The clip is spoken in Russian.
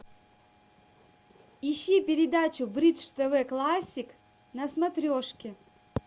ищи передачу бридж тв классик на смотрешке